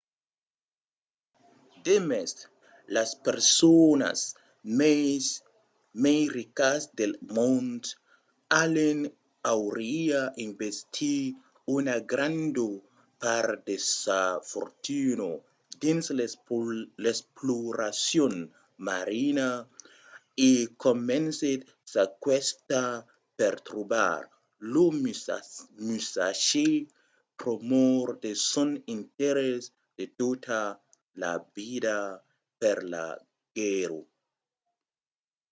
demest las personas mai ricas del mond allen auriá investit una granda part de sa fortuna dins l'exploracion marina e comencèt sa quista per trobar lo musashi pr'amor de son interès de tota la vida per la guèrra